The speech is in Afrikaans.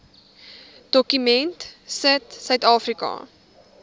dokument sit suidafrika